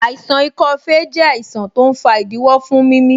Àìsàn ikọ́ fèé jẹ àìsàn tó ń fa ìdíwọ́ fún mimi